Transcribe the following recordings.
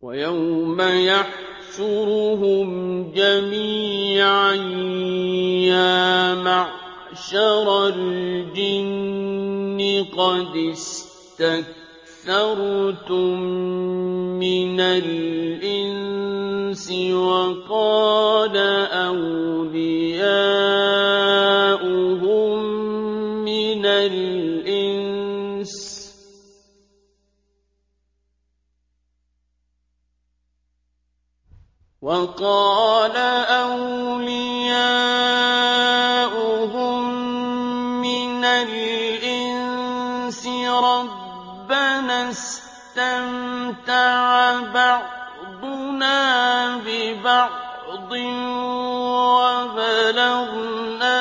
وَيَوْمَ يَحْشُرُهُمْ جَمِيعًا يَا مَعْشَرَ الْجِنِّ قَدِ اسْتَكْثَرْتُم مِّنَ الْإِنسِ ۖ وَقَالَ أَوْلِيَاؤُهُم مِّنَ الْإِنسِ رَبَّنَا اسْتَمْتَعَ بَعْضُنَا بِبَعْضٍ وَبَلَغْنَا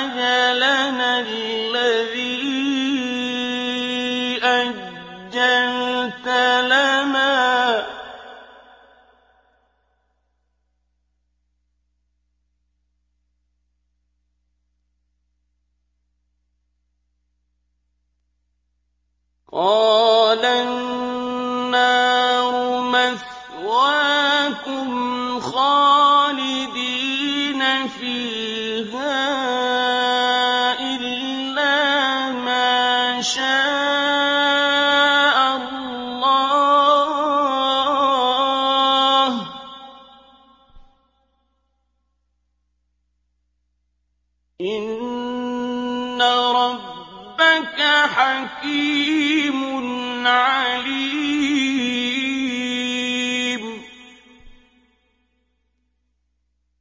أَجَلَنَا الَّذِي أَجَّلْتَ لَنَا ۚ قَالَ النَّارُ مَثْوَاكُمْ خَالِدِينَ فِيهَا إِلَّا مَا شَاءَ اللَّهُ ۗ إِنَّ رَبَّكَ حَكِيمٌ عَلِيمٌ